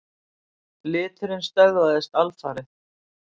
Liturinn stöðvast alfarið.